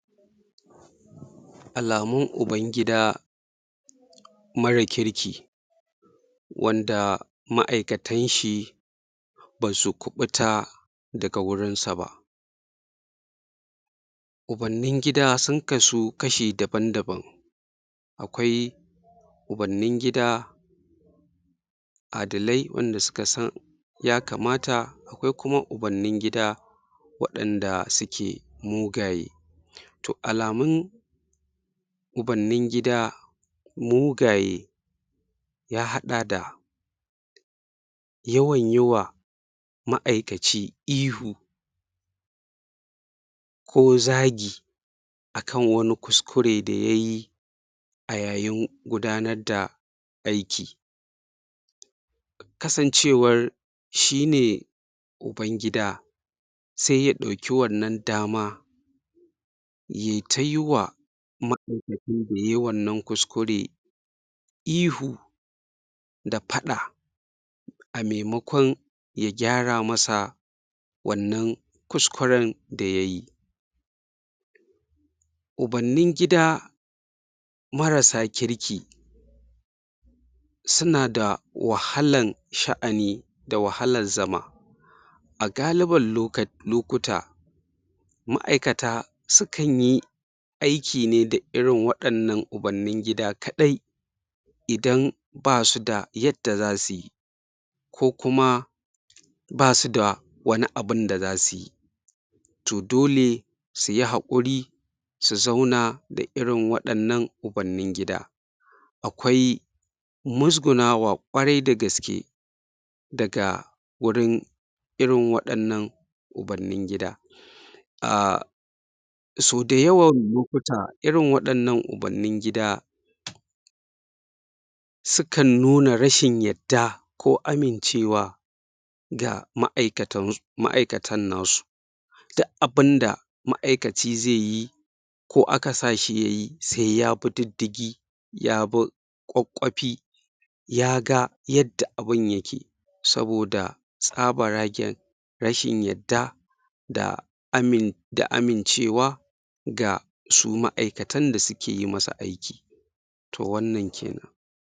Tsarin karantarwa wanda ya sha bam-bam da tsarin karantarwa na haƙiƙa. A taƙaice, shi tsarin karantarwa wanda ya sha bam-bam da tsarin karantarwa na haƙiƙa, wata hanya ce da akan yi koyo na karatu, wanda ya saɓa da yadda al'ada na karantarwa yake. Misali; a tsari na karantarwa na al'adance, akwai mataki-mataki da mutum ya kan bi, daga wannan matakin yaje wannan matakin, daga wannan mataki yaje wannan, daga wannan makaranta, yaje wannan. To shin wannan tsarin karantarwan, ba haka yake ba. Tsari ne,? na yadda mutum zai zo da kan sa, ya saka kansa, don ya koya. Kuma a tsari na karantarwa na? al'ada, a duk matakin da mutum ya kai, za a bashi takarda, shaidar ya kammala wannan matakin. To amma, a wannan bangaren shi mai? koyan zai ta koya ne, zai ta koya ne, yayi ta koya, yayi ta koya, babu wata shaida na takarda, da zai nuna cewa lallai ya gama wannan mataki na karatu, daga nan kuma ya ƙara ɗaurawa. To, yanada?? amfani da dama, shi wannan tsari na karantarwan, tunda mutum zai zo ne a lokacin da yake da lokaci, zai saka kansa cikin wannan koyon, a lokacin da yaga yana da sarari, ko yana da faraga da zaiyi wannan karatun. Wanda shi kuma a wancan tsarin karatu na? al'ada,? za a ɗora ka ne a kan yadda za kayi karatun. Shine wannan tsari, na karantarwa? ba na al'ada ba. Mutum yana da damad da zai fara daga nan, ya bari ya koma nan. Kai ne kuma zaka zaɓa irin abunda kake so, ka ƙware a kai. Misali; harshen turanci ne kake so ka iya, sai kaje ka koya, ko kuma lissafi ne kake so, sai kaje ka koya. A taƙaice dai kenan.